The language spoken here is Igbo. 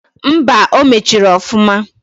Mba! O mechiri ọfụma.